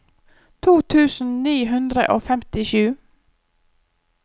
to tusen ni hundre og femtisju